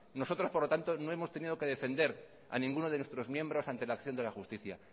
nosotros por lo tanto no hemos tenido que defender a ninguno de nuestros miembros ante la acción de la justicia